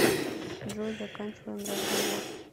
джой заканчиваем разговор